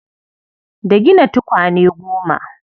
Da gina tukwane goma.